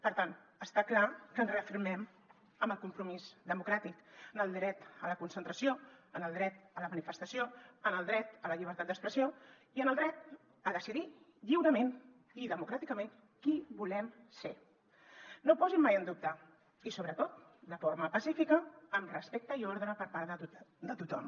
per tant està clar que ens reafirmem en el compromís democràtic en el dret a la concentració en el dret a la manifestació en el dret a la llibertat d’expressió i en el dret a decidir lliurement i democràticament qui volem ser no ho posi mai en dubte i sobretot de forma pacífica amb respecte i ordre per part de tothom